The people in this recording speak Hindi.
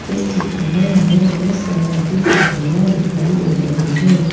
इस चित्र में हमें बहुत तरह की सब्जियां दिखाई दे रही हैं।